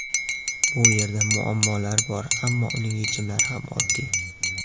Bu yerda muammolar bor, ammo uning yechimlari ham oddiy.